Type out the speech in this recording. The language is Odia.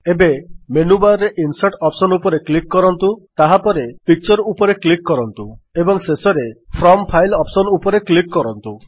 ଏବେ ମେନୁବାର୍ ରେ ଇନସର୍ଟ ଅପ୍ସନ୍ ଉପରେ କ୍ଲିକ୍ କରନ୍ତୁ ତାହାପରେ ପିକ୍ଚର ଉପରେ କ୍ଲିକ୍ କରନ୍ତୁ ଏବଂ ଶେଷରେ ଫ୍ରମ୍ ଫାଇଲ୍ ଅପ୍ସନ୍ ଉପରେ କ୍ଲିକ୍ କରନ୍ତୁ